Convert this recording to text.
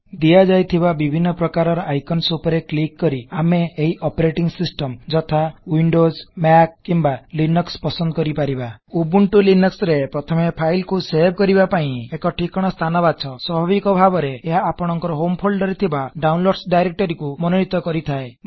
ଦିଆଯାଇଥିବା ବିଭିନ୍ନ ପ୍ରକାରର ଆଇକନସ ଉପରେ ରେ କ୍ଲିକ କରି ଆମେ ଏହି ଅପରେଟିଙ୍ଗ ସିଷ୍ଟମ ଯଥା ୱିଣ୍ଡୋଜ୍ ଏମଏସି ଓର୍ ଲିନକ୍ସ ପସନ୍ଦ କରିପାରିବା ଉବୁଣ୍ଟୁ ଲିନକ୍ସ ରେ ପ୍ରଥମେ ଫାଇଲ କୁ ସେଭ କରିବା ପାଇଁ ଏକ ଠିକଣା ସ୍ଥାନ ବାଛ ସ୍ବାଭାବିକ ଭାବରେ ଏହା ଆପଣକଂର ହୋମ ଫୋଲଡର୍ ରେ ଥିବା ଡାଉନଲୋଡ୍ସ ଡାଇରେକ୍ଟରୀକୁ ମନୋନିତ କରିଥାଏ